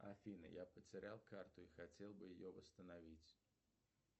афина я потерял карту и хотел бы ее восстановить